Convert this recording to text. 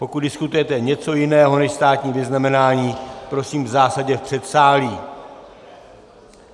Pokud diskutujete něco jiného než státní vyznamenání, prosím zásadně v předsálí.